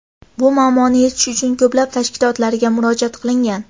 Bu muammoni yechish uchun ko‘plab tashkilotlarga murojaat qilingan.